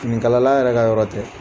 Finikala la yɛrɛ ka yɔrɔ tɛ.